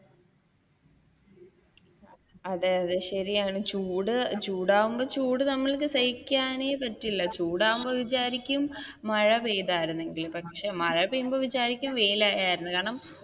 അതെ അതെ ശരിയാണ് ചൂട്ചൂടാവുമ്പോൾ ചൂട് നമുക്ക് സഹിക്കാനേ പറ്റില്ല, ചൂടാവുമ്പോ വിചാരിക്കും മഴ പെയ്താർന്നെങ്കിൽ, പക്ഷെ മഴ പെയ്ത വിചാരിക്കും വെയിലായ മതി എന്ന് കാരണം